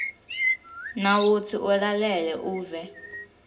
nawutsi ulalele uve